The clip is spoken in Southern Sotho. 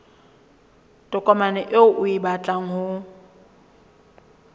tokomane eo o batlang ho